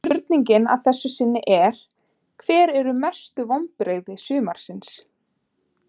Spurningin að þessu sinni er: Hver eru mestu vonbrigði sumarsins?